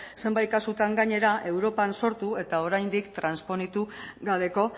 zenbait kasutan gainera europan sortu eta oraindik trasponitu gabeko